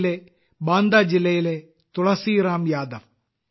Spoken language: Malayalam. യിലെ ബാന്ദ ജില്ലയിലെ തുളസിറാം യാദവ്